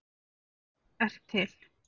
ert til!